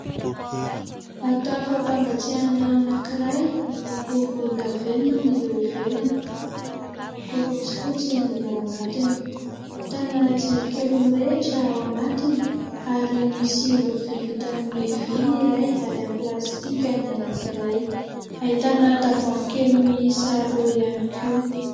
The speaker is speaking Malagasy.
Vata fampangatsiahana anankiray, miloko volondavenona ny eo ivelany ary miloko fotsifotsy ny ao anatiny. Ahitana jirokely mirehitra ao anatiny ary misy lovia vita amin'ny vy ny iray ary amin'ny plastika ny anankiray. Ahitana tavoahangy kely miisa roa ihany koa.